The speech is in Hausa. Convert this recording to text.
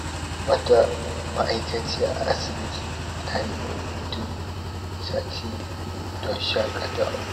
Wata ma'aikaciya a asibiti ta nemi hutun sati don shakatawa.